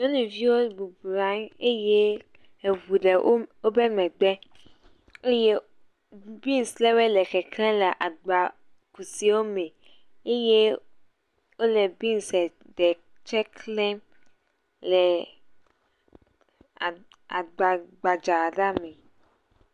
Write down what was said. Nyɔnuviwo boblɔ anyi eye eŋu ɖe wo wobe megbe eye biŋs ɖe wɔe le keklẽ le agbaku siwo me eye wole biŋsɛ ɖe klẽm le aa agbagbadza la me